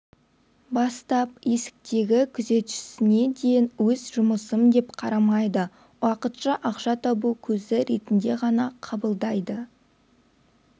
бастап есіктегі күзетшісіне дейін өз жұмысым деп қарамайды уақытша ақша табу көзі ретінде ғана қабылдайды